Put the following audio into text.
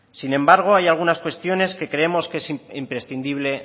sin embargo hay algunas cuestiones que creemos que es imprescindible